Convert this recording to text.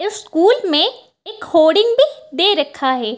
इस स्कूल में एक होर्डिंग भी दे रखा है।